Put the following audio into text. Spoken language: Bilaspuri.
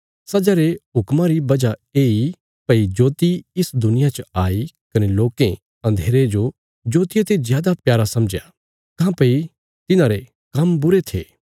सजा रे हुक्मा री वजह येई भई जोति इसा दुनिया च आई कने लोकें अन्धेरे जो जोतिया ते जादा प्यारा समझया काँह्भई तिन्हांरे काम्म बुरे थे